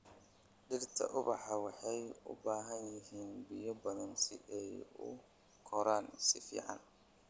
Dhirta ubaxa waxay u baahan yihiin biyo badan si ay u koraan si fiican.